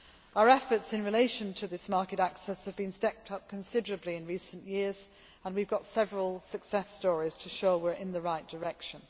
Our efforts in relation to this market access have been stepped up considerably in recent years, and we have several success stories to show we are going in the right direction.